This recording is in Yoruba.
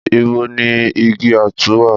Ìbò ni ìgí àtú wà?